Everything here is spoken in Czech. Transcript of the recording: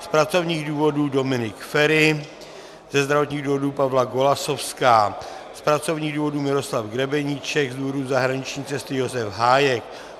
Z pracovních důvodů Dominik Feri, ze zdravotních důvodů Pavla Golasowská, z pracovních důvodů Miroslav Grebeníček, z důvodu zahraniční cesty Josef Hájek.